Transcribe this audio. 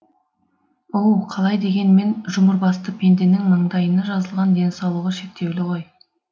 оу қалай дегенмен жұмырбасты пенденің маңдайына жазылған денсаулығы шектеулі ғой